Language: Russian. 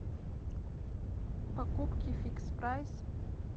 покупки фикс прайс